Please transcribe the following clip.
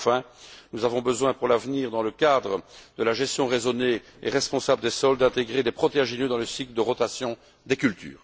Enfin, nous avons besoin pour l'avenir, dans le cadre de la gestion raisonnée et responsable des sols, d'intégrer des protéagineux dans le cycle de rotation des cultures.